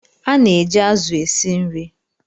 Ana eji azu esi nri